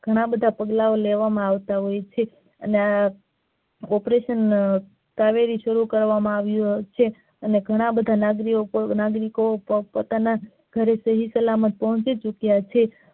ઘણા બધા પગલાં લેવા માં આવતા હોય છે અને આ operation કાવેરી શરૂ કરવામાં આવ્યુ છે અને ઘણા બધા નાગરિકો પોતપોતાના ઘરે સહીસલામત પોંહચી ચૂકયા છે.